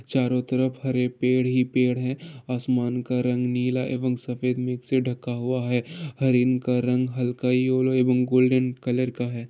चारों तरफ हरे पेड़ ही पेड़ है आसमान का रंग नीला एवं सफेद मिक्स से ढका हुआ है हिरण का रंग हल्का एवं गोल्डन कलर का है ।